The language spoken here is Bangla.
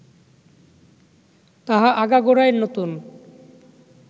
তাহা আগাগোড়াই নতুন